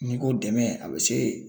N'i ko dɛmɛ a bɛ se.